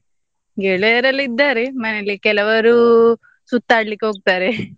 ಗೆಳೆಯರೆಲ್ಲ ಇದ್ದಾರೆ ಮನೆಯಲ್ಲಿ ಕೆಲವರು ಸುತ್ತಾಡಲಿಕ್ ಹೋಗ್ತಾರೆ